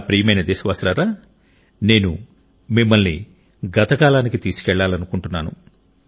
నా ప్రియమైన దేశవాసులారా నేను మిమ్మల్ని గత కాలానికి తీసుకెళ్లాలనుకుంటున్నాను